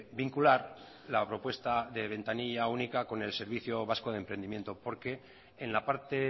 vincular la propuesta de ventanilla única con el servicio vasco de emprendimiento porque en la parte